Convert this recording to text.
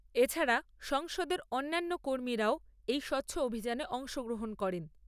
এছাড়া সংসদের অন্যান্য কর্মীরা ও এই স্বচ্ছ অভিযানে অংশ গ্রহন করেন ।